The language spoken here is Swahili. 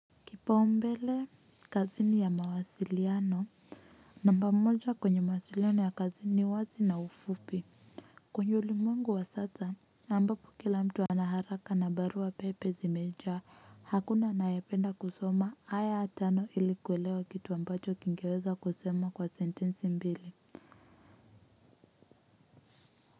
Kipaumbele kazini ya mawasiliano namba mmoja kwenye mawasiliano ya kazini wazi na ufupi kwenye ulimwengu wa sasa ambapo kila mtu anaharaka na barua pepe zimeja hakuna anayependa kusoma haya ya tano ilikuelewa kitu ambacho kingeweza kusema kwa sentensi mbili.